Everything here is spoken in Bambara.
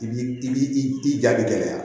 I b'i i ja bi gɛlɛya